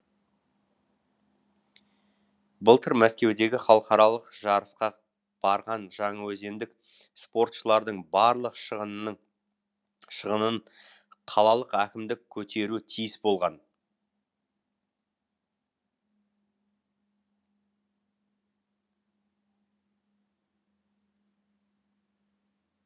былтыр мәскеудегі халықаралық жарысқа барған жаңаөзендік спортшылардың барлық шығынын қалалық әкімдік көтеруі тиіс болған